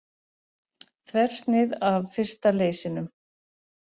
Þversnið af fyrsta leysinum.